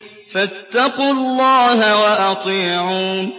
فَاتَّقُوا اللَّهَ وَأَطِيعُونِ